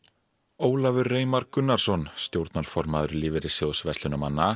Ólafur Reimar Gunnarsson stjórnarformaður Lífeyrissjóðs